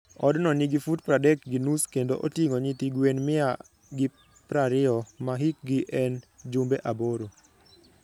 Odno nigi fut pradek gi nus kendo oting'o nyithi gwen mia gi prariyo ma hikgi en jumbe aboro.